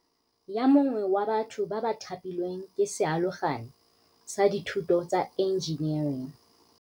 Yo mongwe wa batho ba ba thapilweng ke sealogane sa dithuto tsa enjenering.